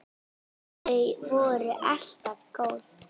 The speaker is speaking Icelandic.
Þau voru alltaf góð.